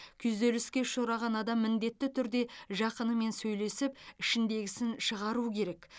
күйзеліске ұшыраған адам міндетті түрде жақынымен сөйлесіп ішіндегісін шығару керек